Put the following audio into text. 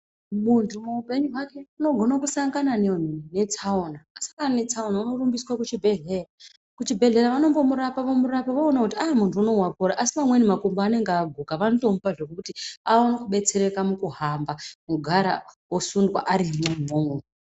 Muntu muupenyi hwake unogona kusangana netsaona. Asangana netsaona unorumbiswe kuchibhedhleya, kuchibhedhleya vanombomurapa vomurapa voona kuti muntu unowu wakura asi pamweni makumbo anenge aguka vanotomupa zvokuti aone kubetsereka mukuhamba wogara osundwa arimwo imwomwo.